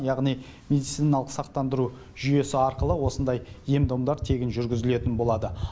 яғни медициналық сақтандыру жүйесі арқылы осындай ем домдар тегін жүргізілетін болады